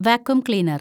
vacuum cleaner‍